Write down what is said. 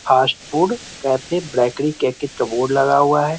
Fast food cafe bakery करके board लगा हुआ है ।